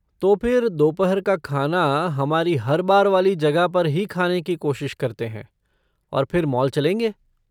तो फिर दोपहर का ख़ाना हमारी हर बार वाली जगह पर ही खाने की कोशिश करते हैं और फिर मॉल चलेंगे।